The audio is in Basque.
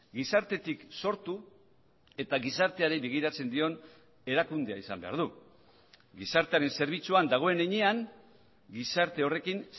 gizartetik sortu eta gizarteari begiratzen dion erakundea izan behar du gizartearen zerbitzuan dagoen heinean gizarte horrekin